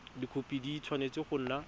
dikhopi di tshwanetse go nna